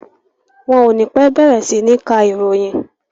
Wọn o ní pẹ́ bẹ̀rẹ̀ sí ní ka ìròyìn.